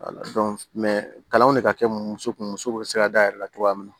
kalanw de ka kɛ muso kun muso bɛ se ka dayɛlɛ cogoya min na